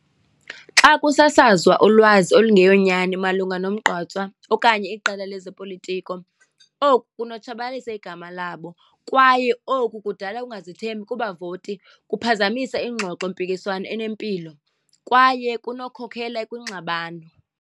Xa kusasazwa ulwazi olungeyonyani malunga nomgqatswa okanye iqela lezopolitiko, oku kunotshabalalisa igama labo kwaye oku kudala ungazithenbi kubavoti, kuphazamisa ingxoxompikiswano enempilo kwaye kunokukhokela kwingxabano.